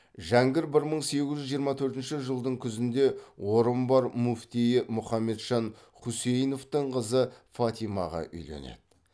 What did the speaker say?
жәңгір бір мың сегіз жүз жиырма төртінші жылдың күзінде орынбор муфтиі мұхамеджан хусейновтың қызы фатимаға үйленеді